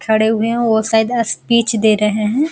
खड़े हुए है वो शायद स्पीच दे रहे है।